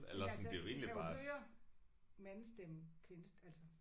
Ja altså de kan jo høre mandestemme kvinde altså